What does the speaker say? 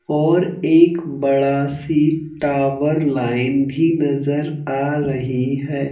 और एक बड़ा सी टावर लाइन भी नजर आ रही है।